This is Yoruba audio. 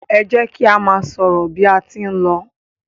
e jẹ ki a má sọrọ bi a tí n ló